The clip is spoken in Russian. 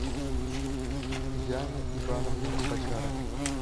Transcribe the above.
яна ивановна бочарова